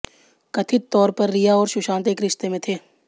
कथित तौर पर रिया और सुशांत एक रिश्ते में थे